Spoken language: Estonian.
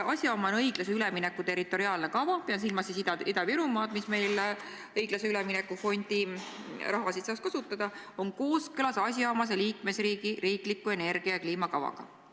asjaomane õiglase ülemineku territoriaalne kava on kooskõlas asjaomase liikmesriigi riikliku energia- ja kliimakavaga".